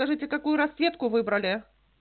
скажите какую расцветку выбрали